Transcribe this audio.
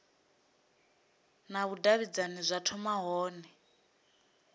na vhudavhidzani zwa thoma hone